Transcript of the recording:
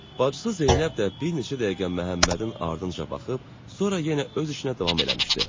Bacısı Zeynəb də bir neçə dəqiqə Məhəmmədin ardınca baxıb, sonra yenə öz işinə davam eləmişdi.